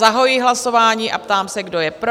Zahajuji hlasování a ptám se, kdo je pro?